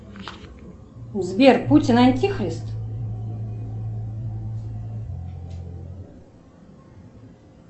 сбер путин антихрист